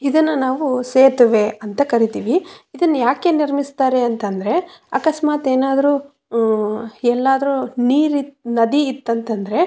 ಇದನ್ನ ನಾವು ಸೇತುವೆ ಅಂತ ಕರೀತೀವಿ ಇದನ್ನ ಯಾಕೆ ನಿರ್ಮಿಸ್ತಾರೆ ಅಂತಂದ್ರೆ ಅಕಸ್ಮಾತ್ ಏನಾದ್ರು ಹಮ್ ಎಲ್ಲಾದ್ರೂ ನೀರು ನದಿ ಇತ್ತು ಅಂತಂದ್ರೆ.